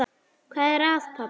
Hvað er að, pabbi?